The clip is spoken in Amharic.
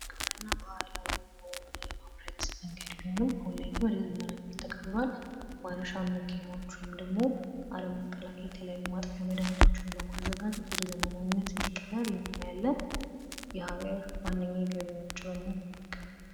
ግብርና ባህላዊ የሆነ የማምረት መንገድ ቢሆንም አሁን ላይ ወደ ዘመናዊነት ተቀይሯል። ማረሻ መኪናዎች እንዲሁም ደግሞ አረም መከላከያ የተለያዩ ማጥፊያ መድሃኒቶችን በማዘጋጀት ወደ ዘመናዊነት እንዲቀየር ያለ የሃገር ዋነኛ የገቢ ምንጭ በመሆን ነው።